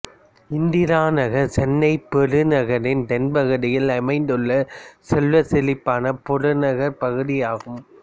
இந்திரா நகர் சென்னைப் பெருநகரின் தென்பகுதியில் அமைந்துள்ள செல்வச்செழிப்பான புறநகர்ப் பகுதியாகும்